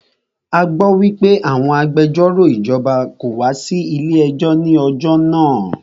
A gbọ́ wípé àwọn agbẹjọ́rò ìjọba kò wá sí ilé ẹjọ́ ní ọjọ́ náà.